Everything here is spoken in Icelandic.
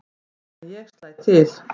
En ég slæ til.